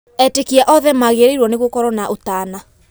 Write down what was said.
Etĩkia othe magĩrĩrũo gũkorwo marĩ na ũtana